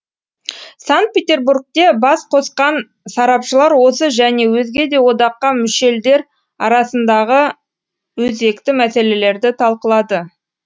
санкт петербургте бас қосқан сарапшылар осы және өзге де одаққа мүшеелдер арасындағы өзекті мәселелерді талқылады